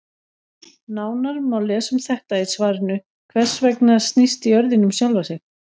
Nánar má lesa um þetta í svarinu Hvers vegna snýst jörðin um sjálfa sig?